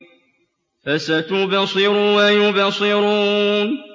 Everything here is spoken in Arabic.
فَسَتُبْصِرُ وَيُبْصِرُونَ